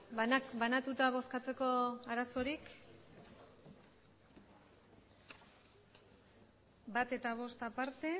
banatuta bozkatzeko arazorik uno eta cinco aparte